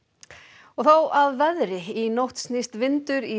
og þá að veðri í nótt snýst vindur í